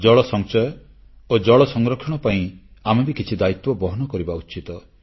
ଜଳସଂଚୟ ଓ ଜଳସଂରକ୍ଷଣ ପାଇଁ ଆମେ ବି କିଛି ଦାୟିତ୍ୱ ବହନ କରିବା ଉଚିତ